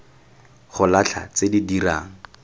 go latlha tse di dirang